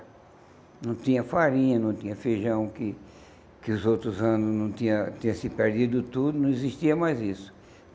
Não tinha farinha, não tinha feijão, que que os outros anos não tinha tinha se perdido tudo, não existia mais isso.